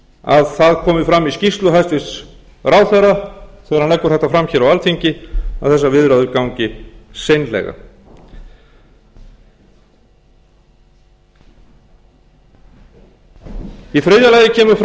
að það komi fram í skýrslu hæstvirts ráðherra þegar hann leggur þetta fram hér á alþingi að þessar viðræður gangi seinlega í þriðja lagi kemur fram að